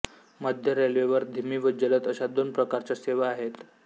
मध्य रेल्वेवर धिमी व जलद अशा दोन प्रकारच्या सेवा आहेत